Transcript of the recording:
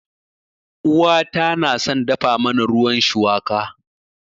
Uwata na son dafa mana ruwan shuwaka.